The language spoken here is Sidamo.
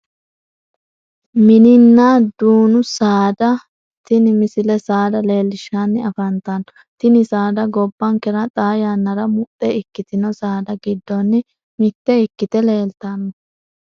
Mininna dunnu saada tini misile saada leellishshanni afantanno tini saada gobbankera xaa yannara muxxe ikkitino saada giddonni mitte ikkite leeltanno